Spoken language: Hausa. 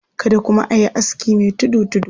Kada kuma a yi aski mai tudu-tudu.